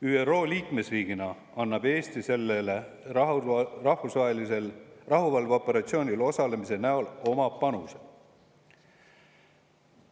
ÜRO liikmesriigina annab Eesti sellel rahvusvahelisel rahuvalveoperatsioonil osaledes oma panuse.